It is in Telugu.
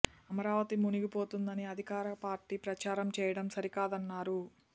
అమరావతి మునిగిపోతుందని అధికార పార్టీ ప్రచారం చేయటం సరి కాదన్నారు